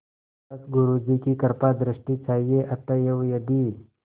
बस गुरु जी की कृपादृष्टि चाहिए अतएव यदि